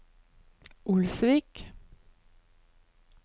Olsvik